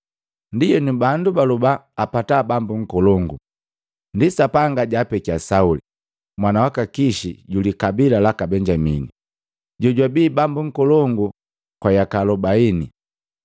Ndienu bandu baloba apata bambo nkolongu, ndi Sapanga jaapekia Sauli, mwana waka Kishi julikabila laka Benyamini, jojwabi bambo nkolongu kwa yaka makomi nsesi.